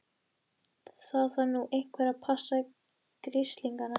Það þarf nú einhver að passa grislingana.